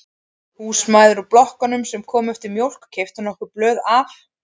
Húsmæður úr blokkunum sem komu eftir mjólk keyptu nokkur blöð af